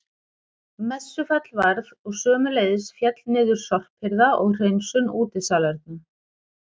Messufall varð og sömuleiðis féll niður sorphirða og hreinsun útisalerna.